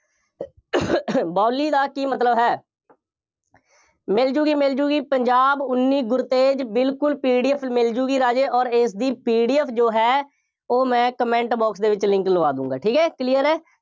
ਬਾਊਲੀ ਦਾ ਕੀ ਮਤਲਬ ਹੈ। ਮਿਲ ਜਾਊਗੀ, ਮਿਲ ਜਾਊਗੀ, ਪੰਜਾਬ ਉੱਨੀ ਗੁਰਤੇਜ ਬਿਲਕੁੱਲ PDF ਮਿਲ ਜਾਊਗੀ ਰਾਜੇ, ਅੋਰ ਇਸਦੀ PDF ਜੋ ਹੈ, ਉਹ ਮੈਂ comment box ਦੇ ਵਿੱਚ link ਲਵਾ ਦੇਊਂਗਾਂ, ਠੀਕ ਹੈ, clear ਹੈ।